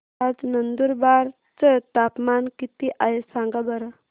आज नंदुरबार चं तापमान किती आहे सांगा बरं